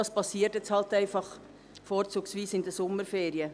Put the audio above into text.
Das geschieht jetzt halt einfach vorzugsweise in den Sommerferien.